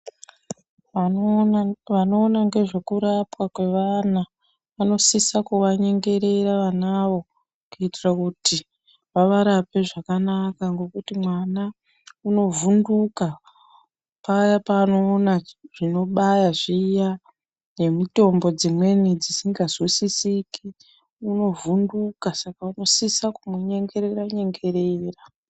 Anoona vanoona ngezvekurapwa kwevana, vanosisa kuvanyengerera vanavo, kuitira kuti vavarape zvakanaka ngokuti mwana unovhunduka, paya paanoona zvinobaya zviya ,nemitombo dzimweni dzisingazwisisiki ,unovhunduka saka unosisa kumunyengerere-nyengerera.